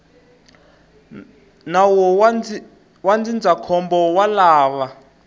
nawu wa ndzindzakhombo wa lava